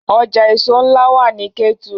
Ọjà èso ńlá wà nní Kétu